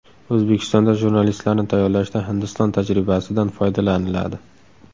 O‘zbekistonda jurnalistlarni tayyorlashda Hindiston tajribasidan foydalaniladi .